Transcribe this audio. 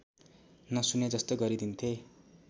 नसुने जस्तो गरिदिन्थे